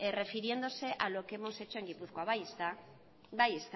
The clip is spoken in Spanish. refiriéndose a lo que hemos hecho en gipuzkoa bai ezta